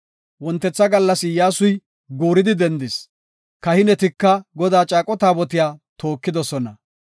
Wontetha gallas Iyyasuy guuridi dendis; kahinetika Godaa caaqo taabotiya tookidosona.